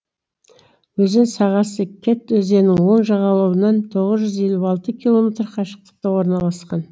өзен сағасы кеть өзенінің оң жағалауынан тоғыз жүз елу алты километр қашықтықта орналасқан